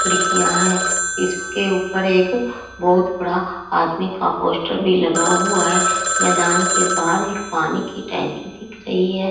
खिड़कियां हैं इसके ऊपर एक बहुत बड़ा आदमी का पोस्टर भी लगा हुआ है मैदान के बाहर एक पानी की टंकी दिख रही हैं।